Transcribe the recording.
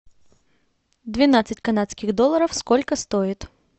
двенадцать канадских долларов сколько стоит